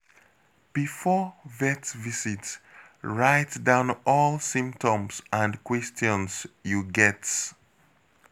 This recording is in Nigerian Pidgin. Before vet visit, write down all symptoms and questions you get.